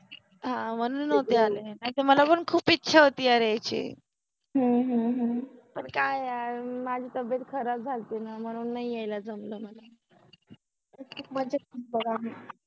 हा मनुन नवते आले, नाहि तर मला पन खुप इच्छा होति यार यायचि, ह्म्म ह्म्म ह्म, का यार माझि तब्बेत खराब झालति न मनुन नाहि यायला जमल मला